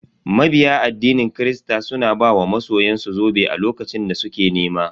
Mabiya addinin kirista suna ba wa masoyan su zobe a lokacin da suke nema.